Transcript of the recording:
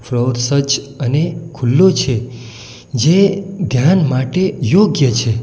Floor સ્વચ્છ અને ખુલ્લો છે જે ધ્યાન માટે યોગ્ય છે.